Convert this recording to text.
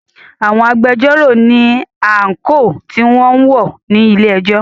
Àwọn agbẹjọ́rò ní àńkò tí wọn ń wọ̀ ní ilé ẹjọ́.